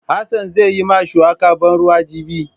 Hassan zai yi ma shuwaka ban ruwa jibi.